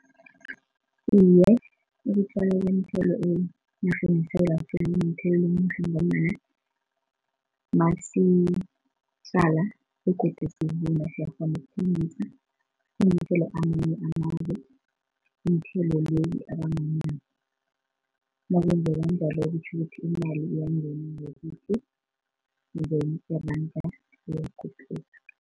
Iye, ukutjalwa kweenthelo enarheni yeSewula Afrika kunomthelela omuhle ngombana masitjala begodu sivuna siyakghona ukuthengisa sithengisele amanye amazwe iinthelo lezi abanganazo nakwenzeka njalo kutjho ukuthi imali iyangena ngakithi iranda liyakhuphuka.